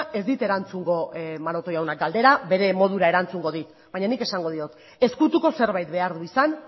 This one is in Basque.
ez dit erantzungo maroto jaunak galdera bere modura erantzungo dit baina nik esango diot ezkutuko zerbait behar du izan